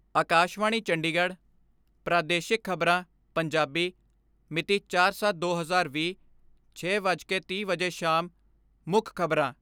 ਆਕਾਸ਼ਵਾਣੀ ਚੰਡੀਗੜ੍ਹ ਪ੍ਰਾਦੇਸ਼ਿਕ ਖਬਰਾਂ, ਪੰਜਾਬੀ ਮਿਤੀ ਚਾਰ ਸੱਤ ਦੋ ਹਜ਼ਾਰ ਵੀਹ, ਛੇ ਵੱਜ ਕੇ ਤੀਹ ਮਿੰਟ ਵਜੇ ਸ਼ਾਮ ਮੁੱਖ ਖਬਰਾਂ